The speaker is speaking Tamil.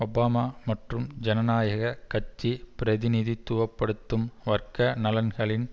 ஒபாமா மற்றும் ஜனநாயக கட்சி பிரதிநிதித்துவ படுத்தும் வர்க்க நலன்களின்